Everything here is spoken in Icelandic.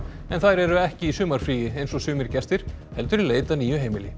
en þær eru ekki í sumarfríi eins og sumir gestir heldur í leit að nýju heimili